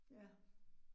Ja